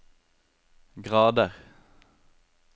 grader